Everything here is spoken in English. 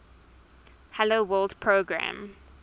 hello world program